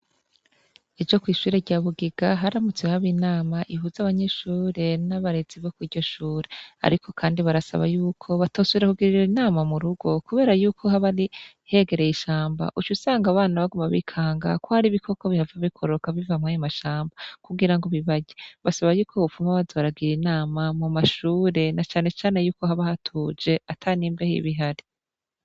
Ijo kw'ishure rya bugiga haramutse haba inama ihuze abanyishure n'abarezi bo kurya ushure, ariko, kandi barasaba yuko batosuira kugirira inama mu rugo, kubera yuko habari hegereye ishamba uca usanga abana baguma bikanga ko hari bikoko bihava bikororoka biva mpwame mashamba kugira ngo bibaje basaba yuko woupfuma bazobaraga giri nama mu mashure na canecane yuko haba hatuje ata n'imbeho ibihari.